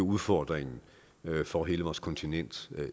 udfordring for hele vores kontinent